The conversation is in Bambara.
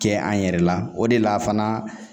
Kɛ an yɛrɛ la o de la fana